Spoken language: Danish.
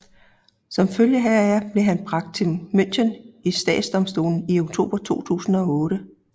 Som følge heraf blev han bragt til München i statsdomstolen i oktober 2008